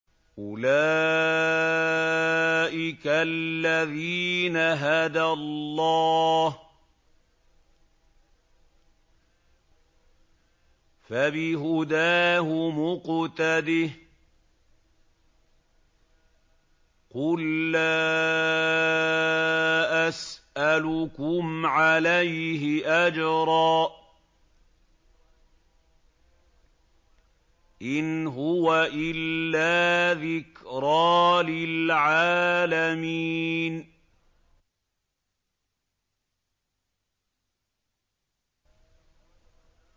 أُولَٰئِكَ الَّذِينَ هَدَى اللَّهُ ۖ فَبِهُدَاهُمُ اقْتَدِهْ ۗ قُل لَّا أَسْأَلُكُمْ عَلَيْهِ أَجْرًا ۖ إِنْ هُوَ إِلَّا ذِكْرَىٰ لِلْعَالَمِينَ